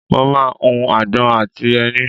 mo máà ń hu agbọ̀n àti ẹni